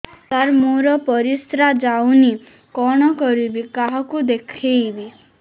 ସାର ମୋର ପରିସ୍ରା ଯାଉନି କଣ କରିବି କାହାକୁ ଦେଖେଇବି